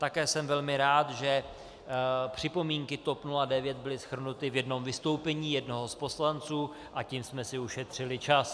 Také jsem velmi rád, že připomínky TOP 09 byly shrnuty v jednom vystoupení jednoho z poslanců a tím jsme si ušetřili čas.